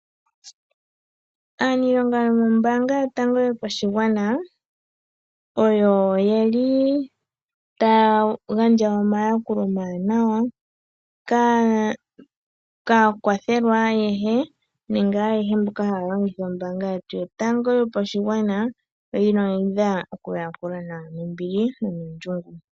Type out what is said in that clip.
Aaniilonga yomombanga yotango yopashigwana oye li taya gandja omayakulo omawanawa kaakwathelwa ayehe nenge ayehe mboka haya longitha ombanga yetu yotango yopashigwana. Onkene oyi na okuyakula nawa nombili no nuundjolowele.